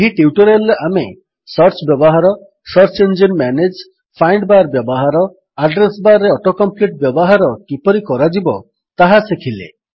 ଏହି ଟ୍ୟୁଟୋରିଆଲ୍ ରେ ଆମେ ସର୍ଚ୍ଚ ବ୍ୟବହାର search engine manage find bar ବ୍ୟବହାର ଆଡ୍ରେସ୍ ବାର୍ ରେ ଅଟୋ କମ୍ପ୍ଲିଟ୍ ବ୍ୟବହାର କିପରି କରାଯିବ ତାହା ଶିଖିଲେ